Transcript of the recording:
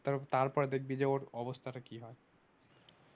তারপরে দেখবি যে ওর অবস্থাটা কি হয়?